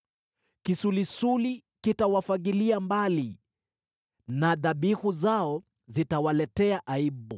Kisulisuli kitawafagilia mbali na dhabihu zao zitawaletea aibu.